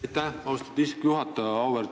Aitäh, austatud istungi juhataja!